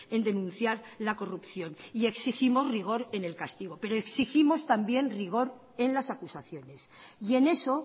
en denunciar la corrupción y exigimos rigor en el castigo pero exigimos también rigor en las acusaciones y en eso